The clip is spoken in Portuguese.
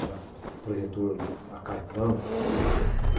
Era projetor a carvão.